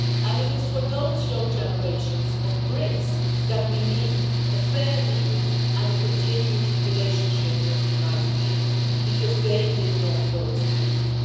It is for those young generations of Brits that we need a fair deal and a continued relationship with the United Kingdom, because they did not vote to leave.